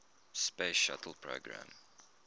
space shuttle program